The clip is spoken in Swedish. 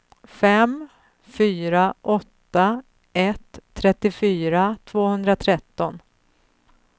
fem fyra åtta ett trettiofyra tvåhundratretton